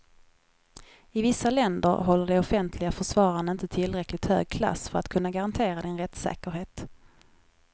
I vissa länder håller de offentliga försvararna inte tillräckligt hög klass för att kunna garantera din rättssäkerhet.